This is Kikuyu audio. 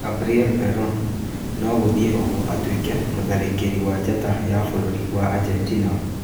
Gabriel Veron nogũthiĩ ũguo atuĩke mũtharĩkĩri wa njata ya bũrũri wa Argentina